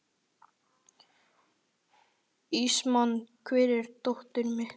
Ismael, hvar er dótið mitt?